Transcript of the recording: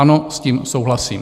Ano, s tím souhlasím.